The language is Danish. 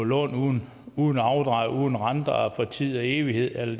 lovet lån uden afdrag uden renter og for tid og evighed eller